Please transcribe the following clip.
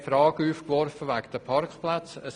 Wir warfen die Frage wegen den Parkplätzen auf.